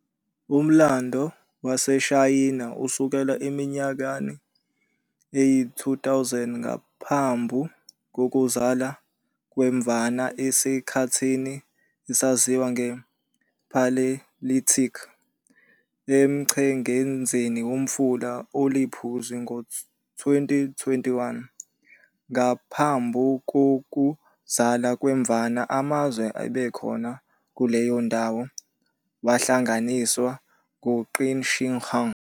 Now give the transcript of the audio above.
Umlando waseShayina usukela eminyakeni eyi-2000 ngaphambu kokuzala kweMvana esikhathini esaziwa nge-"Paleolithic" emchengezini womfula oliPhuzi. Ngo-221 ngaphambu kokuzala kweMvana, amazwe ebekhona kuleyondawo wahlanganiswa uQin Shi Huang.